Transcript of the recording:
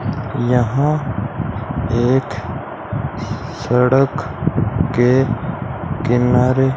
यहां एक सड़क के किनारे।